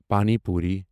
پَانی پوری